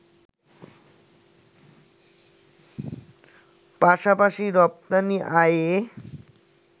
পাশাপাশি রপ্তানি আয়ে